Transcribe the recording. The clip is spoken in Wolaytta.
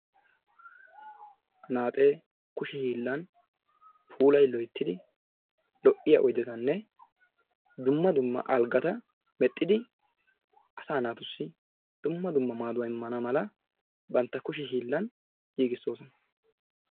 Anaaxxee kushe hiillan puulay loyttidi lo'iya oydetanne dumma dumma algata mexxidi asaa naatussi dumma dumma maaduwa immana mala bantta kushe hiillaan giggissoosona.